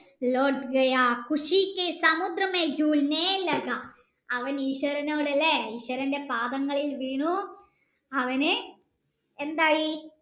അവൻ ഈശ്വരനോട് അല്ലെ ഈശ്വരൻ്റെ പാദങ്ങളിൽ വീണു അവന് എന്തായി